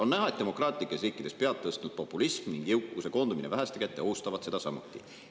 On näha, et demokraatlikes riikides pead tõstnud populism ning jõukuse koondumine väheste kätte ohustavad seda samuti.